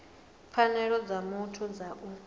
pfanelo dza muthu dza u